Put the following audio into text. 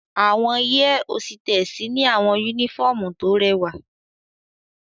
Awọn air hositessi ni awọn unifọmú to rẹwa